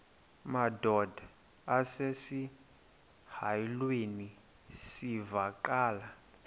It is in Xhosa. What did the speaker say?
madod asesihialweni sivaqal